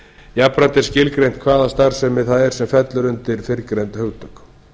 jafnframt er skilgreint hvaða starfsemi það er sem fellur undir fyrrgreind hugtök